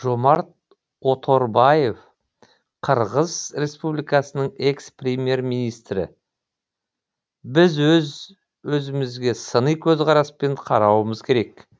жомарт оторбаев қырғыз республикасының экс премьер министрі біз өз өзімізге сыни көзқараспен қарауымыз керек